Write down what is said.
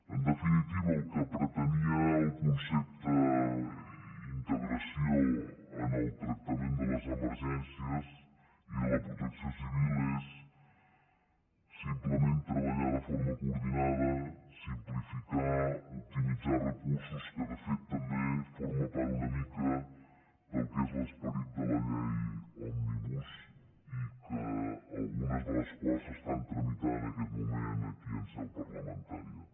en definitiva el que pretenia el concepte integració en el tractament de les emergències i de la protecció civil és simplement treballar de forma coordinada simplificar optimitzar recursos que de fet també forma part una mica del que és l’esperit de la llei òmnibus i algunes de les quals s’estan tramitant en aquest moment aquí en seu parlamentària